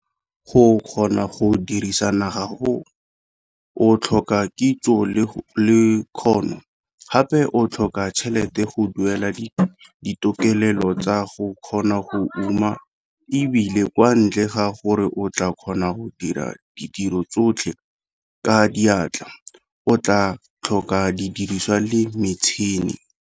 Go kgona go dirisa naga, o tlhoka kitso le kgono, gape o tlhoka tšhelete go duela ditokelelo tsa go kgona go uma, e bile kwa ntle ga gore o tlaa kgona go dira ditiro tsotlhe ka diatla, o tlaa tlhoka didiriswa le metšhene.